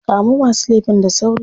Kamo masu laifin da sauri.